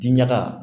Diɲaga